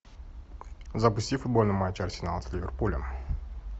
запусти футбольный матч арсенал с ливерпулем